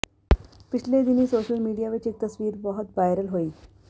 ਪਿਛਲੇ ਦਿਨੀਂ social media ਵਿੱਚ ਇੱਕ ਤਸਵੀਰ ਬਹੁਤ ਵਾਇਰਲ ਹੋਈ